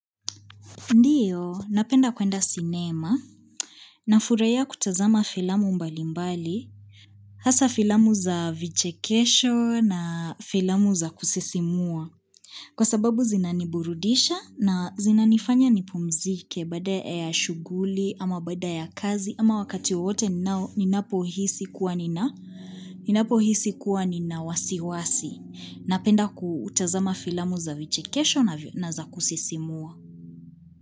Ndiyo, napenda kuenda sinema nafurahia kutazama filamu mbalimbali, hasa filamu za vichekesho na filamu za kusisimua. Kwa sababu zinaniburudisha na zinanifanya nipumzike baada ya shughuli ama baada ya kazi ama wakati wote ninapohisi kuwa nina wasiwasi. Napenda kutazama filamu za vichekesho na vya na za kusisimua.